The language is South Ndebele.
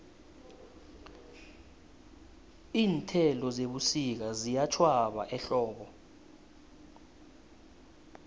iinthelo zebusika ziyatjhwaba ehlobo